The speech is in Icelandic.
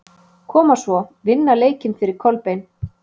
Koma svo, vinna leikinn fyrir Kolbein!